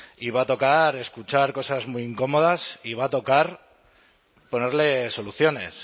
y va a tocar escuchar cosas muy incómodas y va a tocar ponerle soluciones